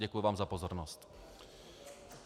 Děkuji vám za pozornost.